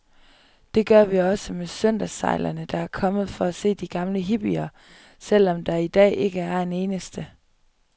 Det gør vi også med søndagssejlerne, der er kommet for at se de gamle hippier, selv om der i dag ikke er en eneste.